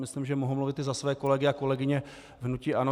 Myslím, že mohu mluvit i za své kolegy a kolegyně v hnutí ANO.